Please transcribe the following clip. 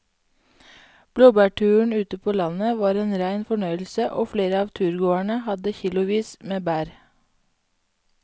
Blåbærturen ute på landet var en rein fornøyelse og flere av turgåerene hadde kilosvis med bær.